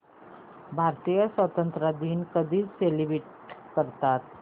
भारतीय स्वातंत्र्य दिन कधी सेलिब्रेट करतात